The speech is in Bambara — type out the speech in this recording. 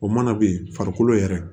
O mana ben farikolo yɛrɛ